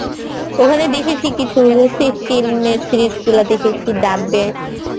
ওখানে দেখেছি কিছু চিহ্নের সিরিজ গুলো দেখেছি dubb এর